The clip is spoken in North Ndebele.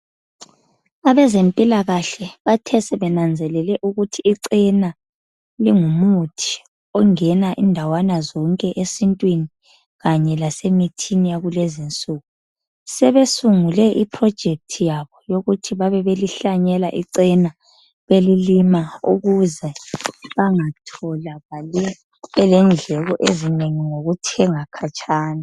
Abezempilakahle bathe sebenanzelele ukuthi icena lingumuthi. Ongena indawana zonke esintwini kanye lasemithini yakulezinsuku. Sebesungule iphilojikethi yabo yokuhlanyela icena belilima ukuze bangatholakali belendleko ezinengi ngokuthenga khatshana.